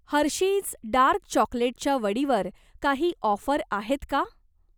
Hershey's dark चॉकलेटच्या वडीवर काही ऑफर आहेत का?